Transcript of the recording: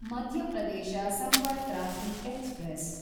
Madhya Pradesh Sampark Kranti express